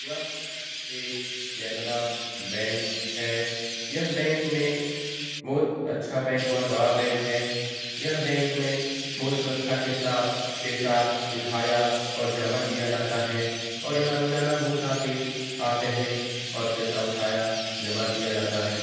यह एक केनरा बैंक है यह बैंक में बहुत अच्छा बैंक और बड़ा बैंक है यह बैंक में बहुत सुरक्षा के साथ पैसा उठाया और जमा किया जाता है और यहाँ रोजाना बहुत आदमी आते हैं और पैसा उठाया जमा किया जाता है।